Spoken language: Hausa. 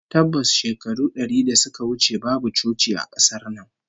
Tabbas, shekaru dari da suka wuce babu coci a kasar nan